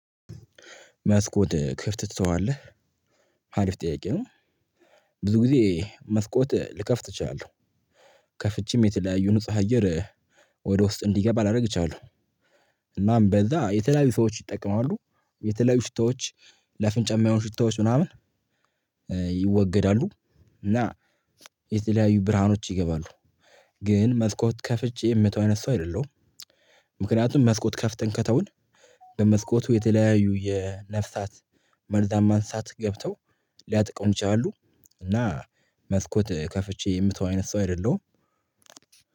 መስኮት ክፍት ትተዋለህ? አሪፍ ጥያቄ ነው። ብዙ ጊዜ መስኮት ልከፍት እችላለሁ። ከፍቼም የተለያዩ ንጹህ አየር ወደ ውስጥ እንዲገባ ላደርግ እችላለሁ። እናም በዛ የተለያዩ ሰዎች ይጠቀማሉ። የተለያዩ ሽታዎች ለአፍንጫ የማይሆን ሽታዎች ምናምን። ይወገዳሉ እና የተለያዩ ብርሃኖች ይገባሉ። ግን መስኮት ከፍቼ የምተው አይነት ሰው አይደለሁም። ምክንያቱም መስኮት ከፍተን ከተውን በመስኮቱ የተለያዩ የነፍሳት መርዛማ እንስሳት ገብተው ሊያጠቁን ይችላሉ። እና መስኮት ከፍቼ የምተው አይነት ሰው አይደለሁም።